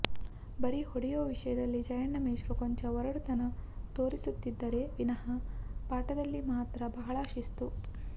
ಬರೀ ಹೊಡೆಯುವ ವಿಷಯದಲ್ಲಿ ಜಯಣ್ಣ ಮೇಷ್ಟ್ರು ಕೊಂಚ ಒರಟುತನ ತೋರಿಸುತ್ತಿದ್ದರೆ ವಿನಹ ಪಾಠದಲ್ಲಿ ಮಾತ್ರ ಬಹಳ ಶಿಸ್ತು